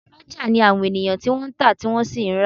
Oloja ni àwọn ènìyàn tí wọ́n ń ta, tí wọ́n sì ń ra